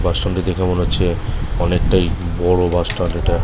বাসস্ট্যান্ডটি দেখে মনে হচ্ছে অনেক বড় বাসস্ট্যান্ড এইটা।